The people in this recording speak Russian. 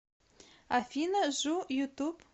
афина жу ютуб